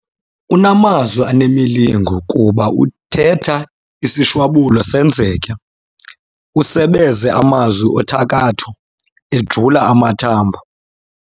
Unamazwi anemilingo kuba uthetha isishwabulo senzeke. usebeze amazwi othakatho ejula amathambo